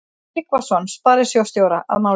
Tryggvason sparisjóðsstjóra að máli.